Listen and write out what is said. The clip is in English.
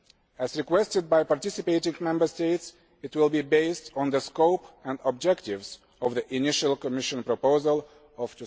As requested by participating Member States, it will be based on the scope and objectives of the initial Commission proposal of